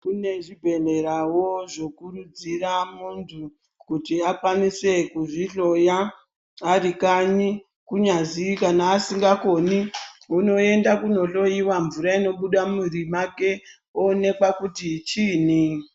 Kune zvibhedhlerawo zvinokurudzira muntu kuti akwanise kuzvihloya ari kanyi kunyazi kana asingakoni unoenda kunohloiwa mvura inobuda mumwiri make oonekwa kuti chiinyi.